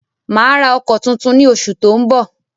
Mà á ra ọkọ̀ tuntun ní oṣù tó ń bọ̀.